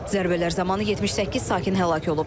Zərbələr zamanı 78 sakin həlak olub.